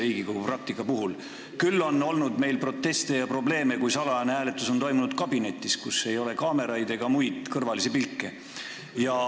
Küll on meil olnud proteste ja probleeme, kui salajane hääletus on toimunud kabinetis, kus ei ole kaameraid ega kõrvalisi pilke.